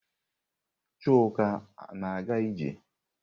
Chuka na-aga ije?